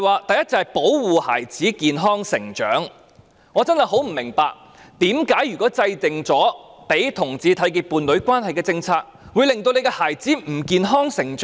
第一，是"保護孩子健康成長"，我真的很不明白，為甚麼制訂讓同志締結伴侶關係的政策，會令她的孩子不能健康成長？